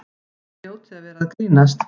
Þið hljótið að vera að grínast!